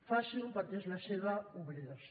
faciho perquè és la seva obligació